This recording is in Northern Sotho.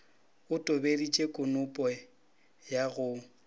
o tobeditše konope ya go